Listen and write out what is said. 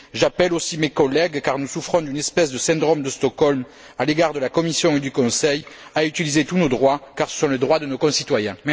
J'appelle aussi mes collègues car nous souffrons d'une espèce de syndrome de Stockholm à l'égard de la Commission et du Conseil à utiliser tous nos droits car ce sont les droits de nos concitoyens.